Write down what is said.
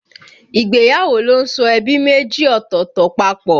Ìgbéyàwó ló ń so ẹbí méjì ọ̀tọ̀ọ̀tọ̀ papọ̀